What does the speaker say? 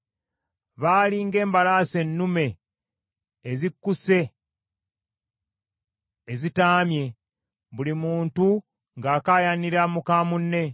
Baali ng’embalaasi ennume ezikkuse ezitaamye, buli muntu ng’akaayanira muka munne.